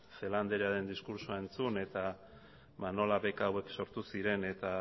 celaá andrearen diskurtsoa entzun eta nola beka hauek sortu ziren eta